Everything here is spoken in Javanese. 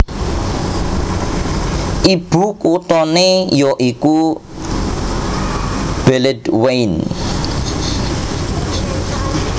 Ibukuthané ya iku Beledweyne